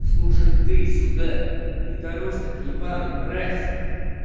слушай ты сюда недоросток е мразь